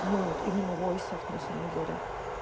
ну вот именно войс оф на самом деле